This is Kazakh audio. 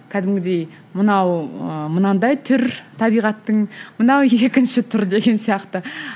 кәдімгідей мынау ы мынандай түр табиғаттың мынау екінші түр деген сияқты